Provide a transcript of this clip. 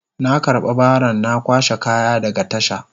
Na karba baron na kwashe kaya daga tasha.